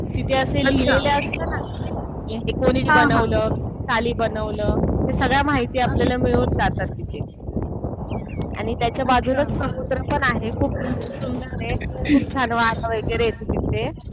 तिथे असं लिहिलेलं असतं ना कि हे कुणी बनवलं? साली बनवलं, ते सगळ्या माहिती मिळून जातात तिथे. आणि त्याच्या बाजूलाच समुद्र पण आहे. खूप सुंदर आहे. खूप छान वातावरण वगैरे आहे तिथे.